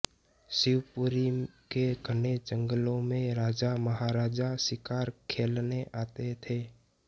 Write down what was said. शिवपुरी के घने जंगलों में राजा महाराजा शिकार खेलने आते थे